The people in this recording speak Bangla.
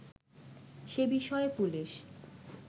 সে বিষয়ে পুলিশ